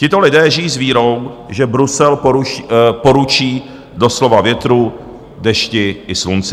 Tito lidé žijí s vírou, že Brusel poručí doslova větru, dešti i slunci.